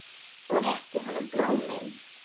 Og rétti honum blómin.